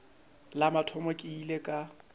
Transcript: la mathomo ke ile ka